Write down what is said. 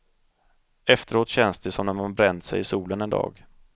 Efteråt känns det som när man bränt sig i solen en dag.